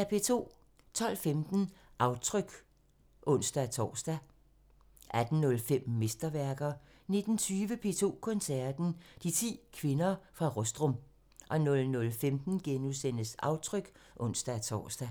12:15: Aftryk (ons-tor) 18:05: Mesterværker 19:20: P2 Koncerten – De 10 kvinder fra Rostrum 00:15: Aftryk *(ons-tor)